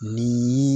Ni